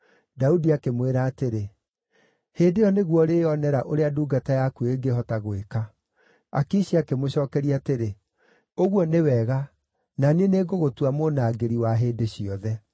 Daudi akĩmwĩra atĩrĩ, “Hĩndĩ ĩyo nĩguo ũrĩĩonera ũrĩa ndungata yaku ĩngĩhota gwĩka.” Akishi akĩmũcookeria atĩrĩ, “Ũguo nĩ wega, na niĩ nĩngũgũtua mũnangĩri wa hĩndĩ ciothe.”